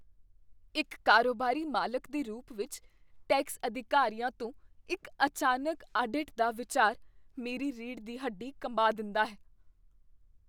ਇੱਕ ਕਾਰੋਬਾਰੀ ਮਾਲਕ ਦੇ ਰੂਪ ਵਿੱਚ, ਟੈਕਸ ਅਧਿਕਾਰੀਆਂ ਤੋਂ ਇੱਕ ਅਚਾਨਕ ਆਡਿਟ ਦਾ ਵਿਚਾਰ ਮੇਰੀ ਰੀੜ੍ਹ ਦੀ ਹੱਡੀ ਕੰਬਾ ਦਿੰਦਾ ਹੈ।